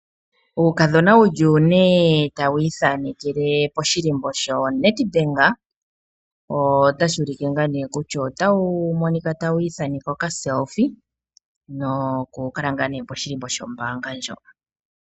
Uukadhona wu li une tawu ithanekele poshikako shoNedbank, otashi ulike kutya otaya ithaneke okathano kopaumwene nokukala ngaa poshihako shombaanga ndjoka.